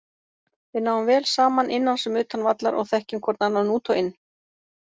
Við náum vel saman innan sem utan vallar og þekkjum hvorn annan út og inn.